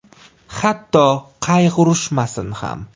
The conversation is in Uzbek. “Hatto qayg‘urishmasin ham.